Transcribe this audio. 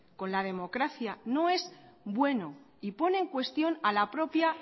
con la democracia no es bueno y pone en cuestión a la propia